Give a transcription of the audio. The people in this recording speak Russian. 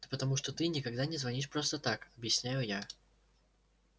да потому что ты никогда не звонишь просто так объясняю я